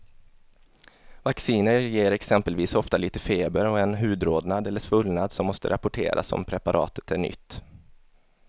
Vacciner ger exempelvis ofta lite feber och en hudrodnad eller svullnad som måste rapporteras om preparatet är nytt.